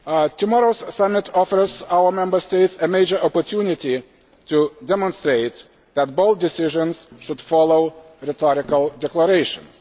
Tomorrow's summit offers our Member States a major opportunity to demonstrate that bold decisions should follow rhetorical declarations.